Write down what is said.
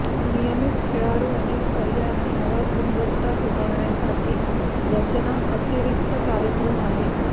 नियमित खेळाडू अनेक पर्याय आणि आवाज गुणवत्ता सुधारण्यासाठी रचना अतिरिक्त कार्यक्रम आहे